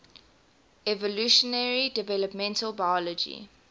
evolutionary developmental biology